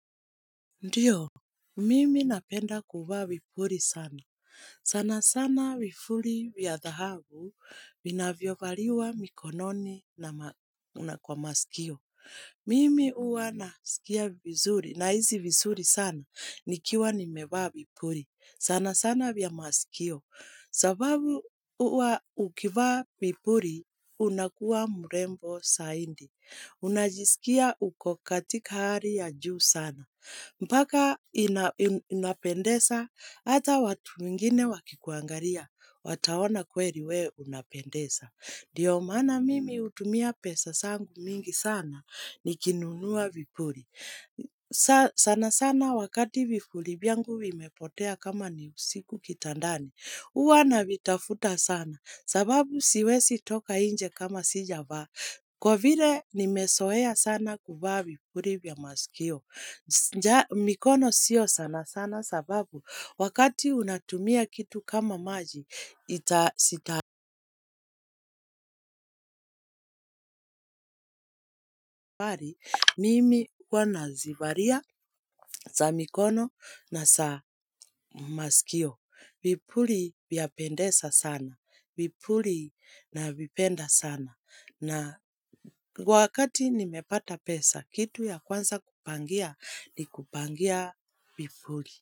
Ndiyo, mimi napenda kuvaa vipuri sana. Sana sana vifuli vya dhahabu vinavyo valiwa mikononi na una kwa masikio. Mimi huwa nasikia vizuri nahisi vizuri sana nikiwa nimevaa vipuli. Sana sana vya masikio. Sababu uwa ukivaa vipuli unakuwa mrembo saindi. Unajisikia uko katika hari ya juu sana. Mpaka inapendesa, hata watu wengine wakikuangaria, wataona kweri we unapendesa. Dio maana mimi utumia pesa sangu mingi sana, nikinunua vipuli. Sana sana wakati vipuri vyangu vimepotea kama ni usiku kitandani. Huwa navitafuta sana, sababu siwesi toka nje kama sijavaa. Kwa vile nimesoea sana kuvaa vipuri vya maskio. Nja mikono sio sana sana sababu wakati unatumia kitu kama maji itasitabari mimi uwa nazivaria sa mikono na sa masikio. Vipuli vyapendesa sana. Vipuli navipenda sana. Na wakati nimepata pesa kitu ya kwanza kupangia ni kupangia vipuli.